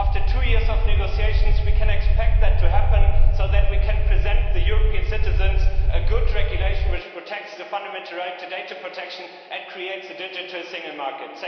After two years of negotiations, we can expect that to happen so that we can present European citizens with a good regulation which protects the fundamental right to data protection and creates a digital single market.